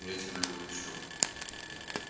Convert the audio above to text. я тебя вытащил